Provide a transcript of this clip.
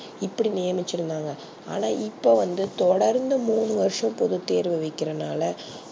இப்டி நியமிச்சி இருந்தாங்க ஆனா இப்போ வந்து தொடர்ந்து மூனு வர்ஷம் போது தேர்வு வைக்கிறது நால